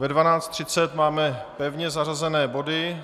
Ve 12.30 máme pevně zařazené body.